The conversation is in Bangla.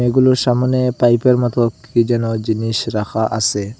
এগুলোর সামোনে পাইপের মত কী যেন জিনিস রাখা আসে ।